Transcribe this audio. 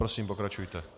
Prosím, pokračujte.